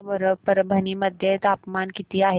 सांगा बरं परभणी मध्ये तापमान किती आहे